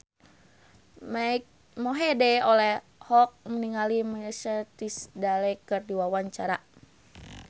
Mike Mohede olohok ningali Ashley Tisdale keur diwawancara